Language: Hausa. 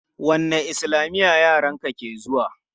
Wanne islamiya yaran ka ke zuwa?